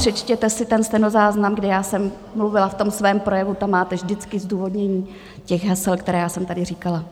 Přečtěte si ten stenozáznam, kdy já jsem mluvila v tom svém projevu, tam máte vždycky zdůvodnění těch hesel, které já jsem tady říkala.